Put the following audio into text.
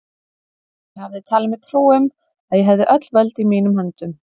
Ég hafði talið mér trú um, að ég hefði öll völd í mínum höndum.